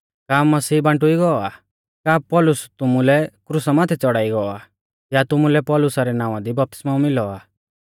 का मसीह बांटुइ गौ आ का पौलुस तुमुलै क्रुसा माथै च़ौड़ाई गौ आ या तुमुलै पौलुसा रै नावां दी बपतिस्मौ मिलौ आ